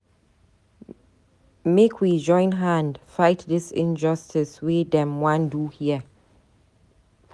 Make we join hand fight dis injustice wey dem wan do here.